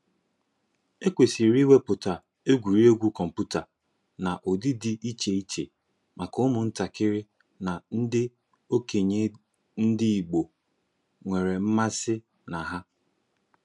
Ekwesịrị iwepụta egwuregwu kọmputa n'ụdị dị iche iche maka ụmụ ntakịrị na ndị okenye ndị Igbo nwere mmasị na ha.